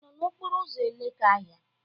Ị nọ n'okporo ụzọ Elekahịa?